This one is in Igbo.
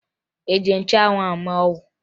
Ị ji nchụanwụ ahụ mee ọgwụ?